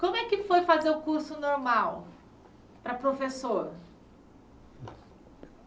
Como é que foi fazer o curso normal para professor?